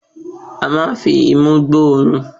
A máa ń fi imú gbọ́ òórùn